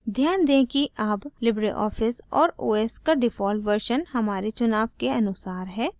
ध्यान दें कि अब libreoffice और os का default version हमारे चुनाव के अनुसार है